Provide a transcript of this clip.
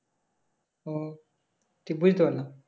ও ঠিক বুঝতে পারলাম